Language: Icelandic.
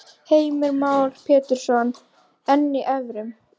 Heimir Már Pétursson: En í evrum?